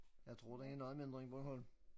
Jeg tror den er noget mindre end Bornholm